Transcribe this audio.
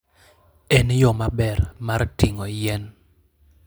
En yo maber mar ting'o yien.